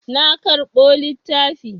Na karɓo littafi.